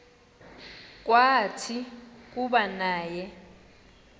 kwathi kuba naye